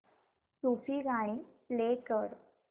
सूफी गाणी प्ले कर